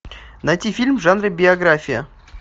найти фильм в жанре биография